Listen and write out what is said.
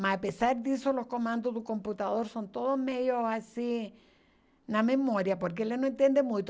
Mas apesar disso, os comandos do computador são todos meio assim, na memória, porque ele não entende muito.